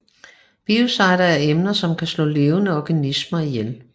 Biocider er emner som kan slå levende organismer ihjel